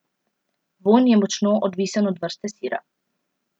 Vonj je močno odvisen od vrste sira.